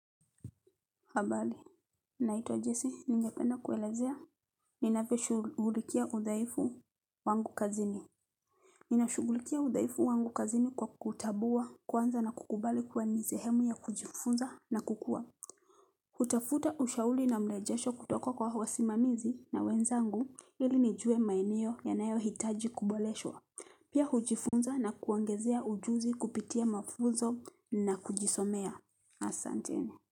Habali, naitwa Jesse. Ningependa kuelezea, ninavyoshugulikia udhaifu wangu kazini. Ninashugulikia udhaifu wangu kazini kwa kutabua kwanza na kukubali kuwa ni sehemu ya kujifunza na kukua. Kutafuta ushauli na mlejesho kutoka kwa wasima mizi na wenzangu ili ni jue maeneo yanayo hitaji kuboleshwa. Pia hujifunza na kuongezea ujuzi kupitia mafuzo na kujisomea. Asante.